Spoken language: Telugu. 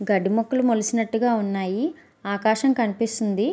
గడ్డి మొక్కలు మొలచినట్లుగా ఉన్నాయి. ఆకాశం కనిపిస్తుంది.